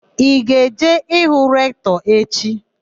Ị ga-eje ịhụ Rektọ echi?